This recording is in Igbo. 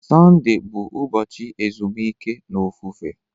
Sọnde bụ ụbọchị ezumike na ofufe.